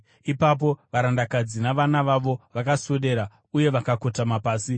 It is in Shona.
Ipapo varandakadzi navana vavo vakaswedera uye vakakotama pasi.